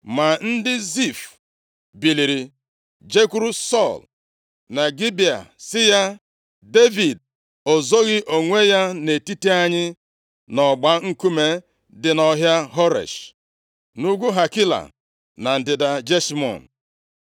Ma ndị Zif biliri jekwuru Sọl na Gibea sị ya, “Devid o zoghị onwe ya nʼetiti anyị nʼọgba nkume dị nʼọhịa Horesh, nʼugwu Hakila, na ndịda Jeshimọn?